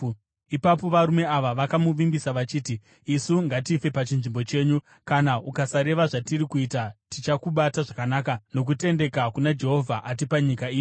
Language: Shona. Ipapo varume vaya vakamuvimbisa vachiti, “Isu ngatife pachinzvimbo chenyu. Kana ukasareva zvatiri kuita tichakubata zvakanaka nokutendeka kana Jehovha atipa nyika ino.”